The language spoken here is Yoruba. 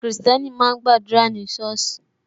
Kristẹni máa ń gba àdúrà ní soosi